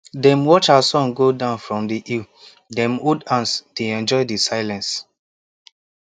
dem watch as sun go down from the hill dem hold hands dey enjoy the silence